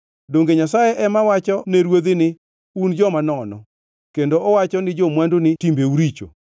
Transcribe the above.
Donge Nyasaye ema wacho ne ruodhi ni, ‘Un joma nono,’ kendo owacho ne jo-mwandu ni, ‘Timbeu richo,’